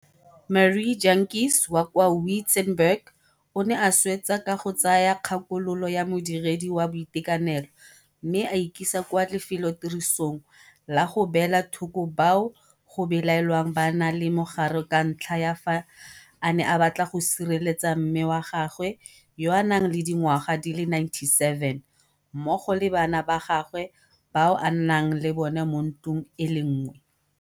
Marie Jantjies wa kwa Wi-tzenberg o ne a swetsa ka go tsaya kgakololo ya modiredi wa boitekanelo mme a ikisa kwa lefelotirisong la go beela thoko bao go belaelwang ba na le mogare ka ntlha ya fa a ne a batla go sireletsa mme wa gagwe yo a nang le dingwaga di le 97 mmogo le bana ba gagwe bao a nnang le bona mo ntlong e le nngwe.